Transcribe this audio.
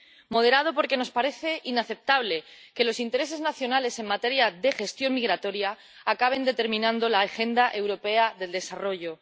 moderado, porque nos parece inaceptable que los intereses nacionales en materia de gestión migratoria acaben determinando la agenda europea del desarrollo.